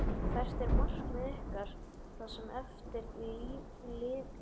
Hvert er markmið ykkar það sem eftir lifir tímabils?